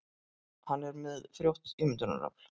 Hann er með frjótt ímyndunarafl.